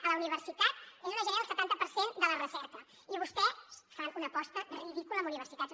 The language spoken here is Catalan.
a la universitat és on es genera el setanta per cent de la recerca i vostès fan una aposta ridícula en universitats